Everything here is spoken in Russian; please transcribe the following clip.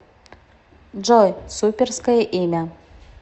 джой суперское имя